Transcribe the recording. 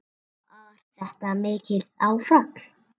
Var þetta mikið áfall?